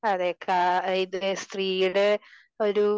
അതെ ക ഇത് സ്ത്രീയുടെ ഒരു